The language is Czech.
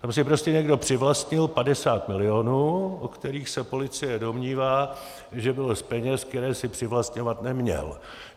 Tam si prostě někdo přivlastnil 50 milionů, o kterých se policie domnívá, že bylo z peněz, které si přivlastňovat neměl.